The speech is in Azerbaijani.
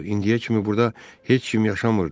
İndiyə kimi burda heç kim yaşamırdı.